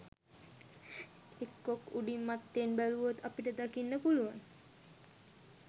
එක්කෝ උඩින් මත්තෙන් බැලුවොත් අපට දකින්න පුළුවන්